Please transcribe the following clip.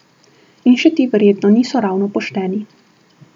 In še ti verjetno niso ravno pošteni.